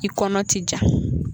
I kɔnɔ ti ja.